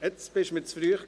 Jetzt kam es zu früh.